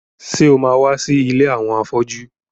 Ṣé o ma wá sí ilé àwọn afọ́jú?